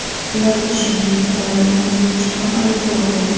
Ularga, shuningdek, terrorizm bo‘yicha ham ayblov qo‘yilgan.